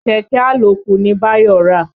Kẹ̀kẹ́ àlòkù ni Báyọ̀ rà.